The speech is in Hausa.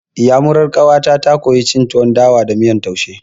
Iyamurar ƙawata ta koya cin tuwon dawa da miyan taushe.